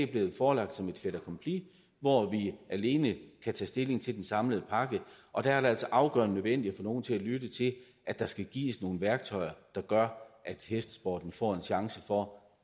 blevet forelagt som et fait accompli hvor vi alene kan tage stilling til den samlede pakke og det er altså afgørende nødvendigt at få nogle til at lytte til at der skal gives nogle værktøjer der gør at hestesporten får en chance for